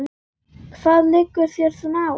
Hvað liggur þér svona á?